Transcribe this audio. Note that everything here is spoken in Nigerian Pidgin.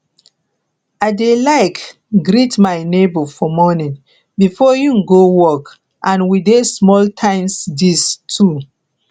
i dey like greet my nebo for morning before im go work and we dey small time gist too